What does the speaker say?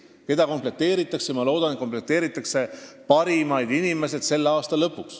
Ma loodan, et meeskond komplekteeritakse parimatest inimestest selle aasta lõpuks.